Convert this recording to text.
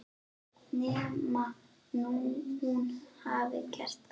Nema hún hafi gert það.